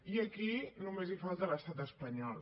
i aquí només hi falta l’estat espanyol